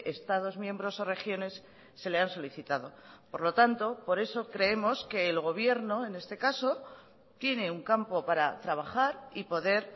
estados miembros o regiones se le han solicitado por lo tanto por eso creemos que el gobierno en este caso tiene un campo para trabajar y poder